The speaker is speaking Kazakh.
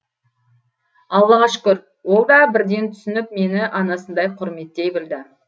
аллаға шүкір ол да бірден түсініп мені анасындай құрметтей білді